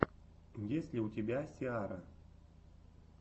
есть ли у тебя сиара